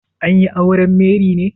An yi auren Mary ne?